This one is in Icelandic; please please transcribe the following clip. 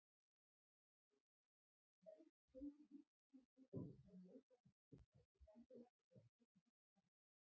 Auk þess eiga mörg þau lífsgildi sem mótað hafa íslenskt samfélag sér kristnar rætur.